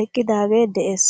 eqqidagee de'ees.